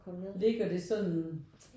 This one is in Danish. Ligger det sådan?